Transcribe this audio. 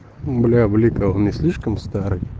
бля блика он не слишком старый